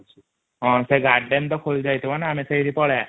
ହଁ ସେ ଗାର୍ଡନ୍ ଟା ଖୋଲିଯାଇଥିବା ନା ଆମେ ସେଠିକି ପଳେଇବା |